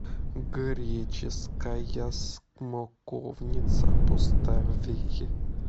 греческая смоковница поставь